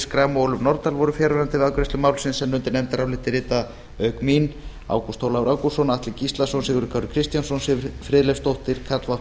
schram og ólöf nordal voru fjarverandi við afgreiðslu málsins en undir nefndarálitið rita auk mín ágúst ólafur ágústsson atli gíslason sigurður kári kristjánsson siv friðleifsdóttir karl fimmti